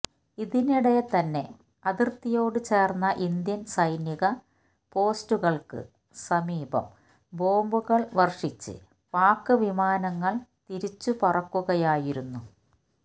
ഇതിനിടെ തന്നെ അതിര്ത്തിയോട് ചേര്ന്ന ഇന്ത്യന് സൈനിക പോസ്റ്റുകള്ക്ക് സമീപം ബോംബുകള് വര്ഷിച്ച് പാക് വിമാനങ്ങള് തിരിച്ചുപറക്കുകയായിരുന്നു